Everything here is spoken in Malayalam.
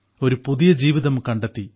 ഒരു പുതിയ ജീവിതം കണ്ടെത്തി